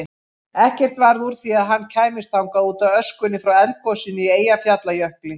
Ekkert varð úr því að hann kæmist þangað útaf öskunni frá eldgosinu í Eyjafjallajökli.